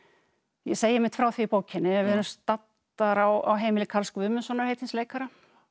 ég segi einmitt frá því í bókinni að við erum staddar á heimili Karls Guðmundssonar heitins leikara